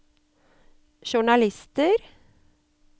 journalister